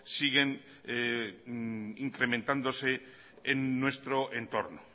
siguen incrementándose en nuestro entorno